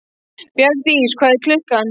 Bjargdís, hvað er klukkan?